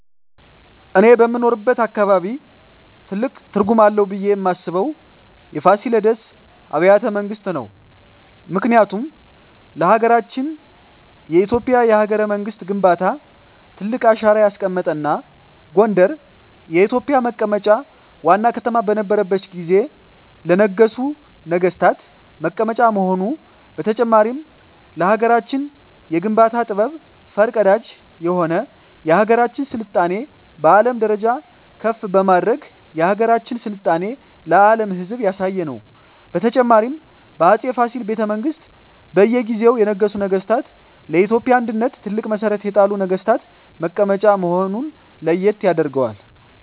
እኔ በምኖርበት አካባቢ ትልቅ ትርጉም አለው ብየ ማስበው የፋሲለደስ አቢያተ መንግስት ነው ምክንያቱም ለሀገረችን የኢትዮጵያ የሀገረ መንግስት ግንባታ ትልቅ አሻራ ያስቀመጠ እና ጎንደር የኢትዮጵ መቀመጫ ዋና ከተማ በነረችት ጊዜ ለነገሡ ነጠገስታት መቀመጫ መሆኑ በተጨማሪም ለሀገራችን የግንባታ ጥበብ ፈር ቀዳጅ የሆነ የሀገራችን ስልጣኔ በአለም ደረጃ ከፍ በማድረግ የሀገራችን ስልጣኔ ለአም ህዝብ ያሳየ ነው። በተጨማሪም በ አፄ ፋሲል ቤተመንግስት በእየ ጊዜው የነገሱ ነገስታ ለኢትዮጵያ አንድነት ትልቅ መሠረት የጣሉ ነግስታት መቀመጫ መሆነ ለየት ያደርገዋል።